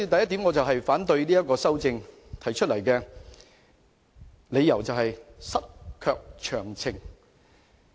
因此，我反對這項修正案，我所持的理由是"失卻詳情"。